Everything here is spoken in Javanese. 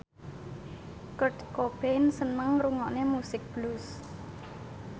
Kurt Cobain seneng ngrungokne musik blues